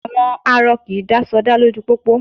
À̀wọn arọ kì í dá sọdá lójú pópó